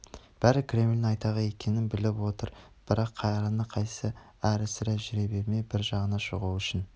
бәрі кремльдің айтағы екенін біліп отыр бірақ қайраны қайсы әрі-сәрі жүре бермей бір жағына шығу үшін